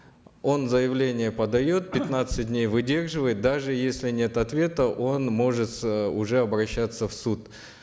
он заявление подает пятнадцать дней выдерживает даже если нет ответа он может э уже обращаться в суд